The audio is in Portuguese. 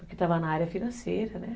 Porque estava na área financeira, né?